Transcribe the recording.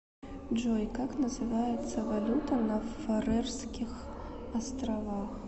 джой как называется валюта на фарерских островах